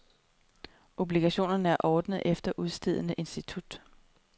Obligationerne er ordnet efter udstedende institut.